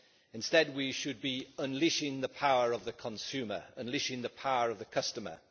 Instead, we should be unleashing the power of the consumer, unleashing the power of the customer.